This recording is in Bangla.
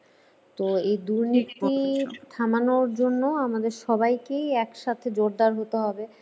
তো এই দুর্নীতি থামানোর জন্য আমাদের সবাইকেই একসাথে জোরদার হতে হবে।